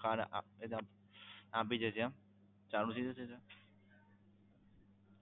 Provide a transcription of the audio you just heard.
card આપી card આપી જશે એમ ચાલુ થઈ જશે sir